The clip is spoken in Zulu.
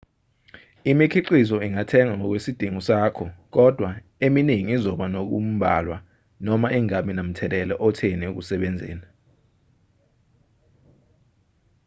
imikhiqizo ingathengwa ngokwesidingo sakho kodwa eminingi izoba nokumbalwa noma ingabi namthelela otheni ekusebenzeni